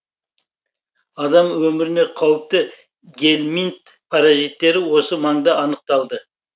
адам өміріне қауіпті гельминт паразиттері осы маңда анықталды